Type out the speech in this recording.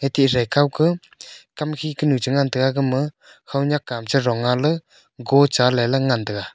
ethe khaokaw khamkhi kanu changan taga gama haonyakam charonnga ley gocha ley ley ngantaga.